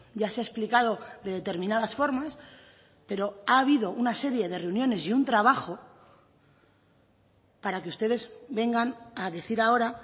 ya se ha explicado de determinadas formas pero ha habido una serie de reuniones y un trabajo para que ustedes vengan a decir ahora